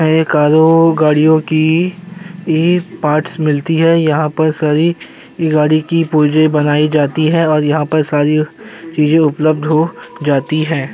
ये कारों गाडियों की ए पार्ट्स मिलती हैं। यहाँ पर सारी गाड़ी की पुर्जें बनाई जाती है और यहाँ पर सारी चीजे उपलब्ध हो जाती हैं।